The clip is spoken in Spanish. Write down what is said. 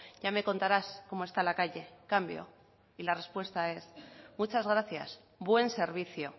ya me contarás como está la calle cambio y la respuesta es muchas gracias buen servicio